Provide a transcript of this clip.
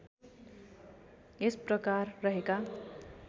यस प्रकार रहेका